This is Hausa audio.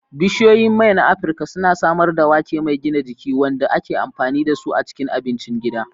Bishiyoyin mai na Afirka suna samar da wake mai gina jiki, wanda ake amfani da su a cikin abincin gida.